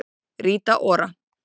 Rita Ora